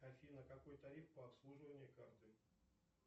афина какой тариф по обслуживанию карты